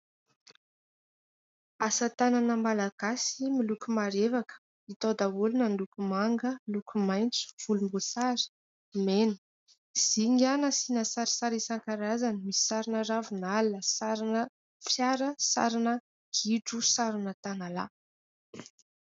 Asa tanana malagasy miloko marevaka, hita ao daholo na ny loko manga, loko maitso, volomboasary, mena. Zinga nasiana sarisary isan-karazany, misy sarina ravinala, sarina fiara, sarina gidro, sarina tanalahy.